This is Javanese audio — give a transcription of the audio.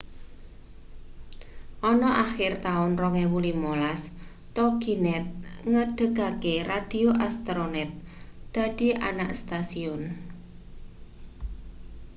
ana akhir taun 2015 toginet ngedegake radio astronet dadi anak stasiun